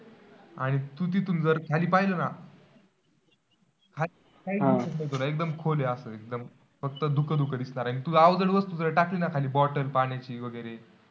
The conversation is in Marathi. आणि तू तिथून जर खाली पाहिलं ना? हा तर एकदम खोल आहे, असं एकदम. फक्त धुकंधुकं दिसणार आणि तू अवजड वस्तू जर टाकली ना खाली bottle पाण्याची वगैरे,